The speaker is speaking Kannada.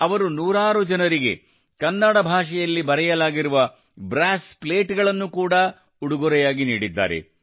ಅವರು ನೂರಾರು ಜನರಿಗೆ ಕನ್ನಡ ಭಾಷೆಯಲ್ಲಿ ಬರೆಯಲಾಗಿರುವ ಬ್ರಾಸ್ ಪ್ಲೇಟ್ ಗಳನ್ನು ಕೂಡಾ ಉಡುಗೊರೆಯಾಗಿ ನೀಡಿದ್ದಾರೆ